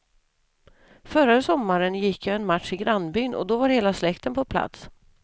Förra sommaren gick jag en match i grannbyn och då var hela släkten på plats.